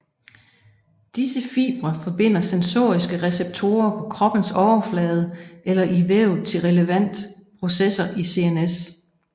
Disse fibre forbinder sensoriske receptorer på kroppens overflade eller i vævet til relevant processer i CNS